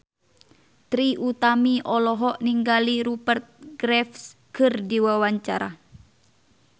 Trie Utami olohok ningali Rupert Graves keur diwawancara